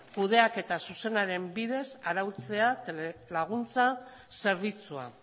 kudeaketa zuzenaren bidez arautzea telelaguntza zerbitzua